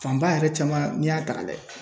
Fanba yɛrɛ caman n'i y'a ta ka lajɛ